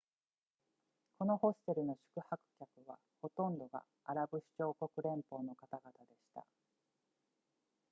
このホステルの宿泊客はほとんどがアラブ首長国連邦の方々でした